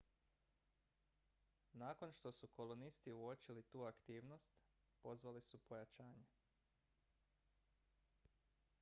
nakon što su kolonisti uočili tu aktivnost pozvali su pojačanje